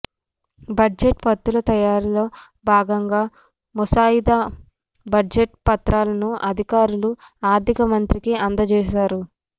budget ప్రతుల తయారీలో భాగంగా ముసాయిదా బడ్జెట్ పత్రాలను అధికారులు ఆర్థిక మంత్రికి అందజేస్తారు